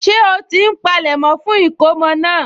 Ṣé ó ti ń polẹ̀mọ́ fún ìkómọ náà?